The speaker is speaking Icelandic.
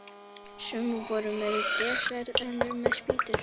Sum voru með trésverð, önnur með spýtur.